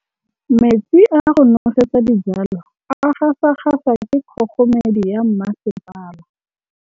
Metsi a go nosetsa dijalo a gasa gasa ke kgogomedi ya masepala.